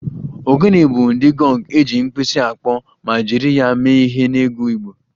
Ogene bụ ụdị gọng eji mkpisi akpọ ma jiri ya mee ihe n'egwu Igbo